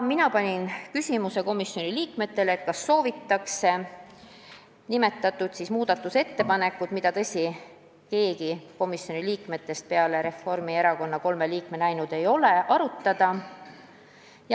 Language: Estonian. Mina esitasin komisjoni liikmetele küsimuse, kas soovitakse arutada nimetatud muudatusettepanekut, mida, tõsi, keegi komisjoni liikmetest peale Reformierakonna kolme liikme ei olnud näinud.